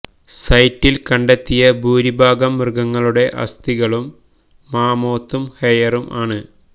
സൈറ്റിൽ കണ്ടെത്തിയ ഭൂരിഭാഗം മൃഗങ്ങളുടെ അസ്ഥികളും മാമോത്തും ഹെയറും ആണ്